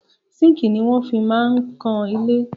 Sínkìì ni wọ́n fi máa ń kan ilé.